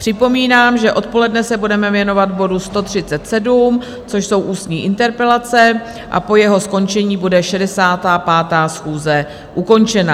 Připomínám, že odpoledne se budeme věnovat bodu 137, což jsou ústní interpelace, a po jeho skončení bude 65. schůze ukončena.